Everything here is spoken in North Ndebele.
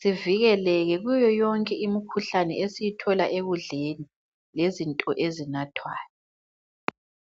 sivikeleke kuyoyonke imikhuhlane esiyithola ekudleni lezinto ezinathwayo.